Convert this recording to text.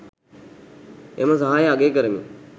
එම සහාය අගය කරමින්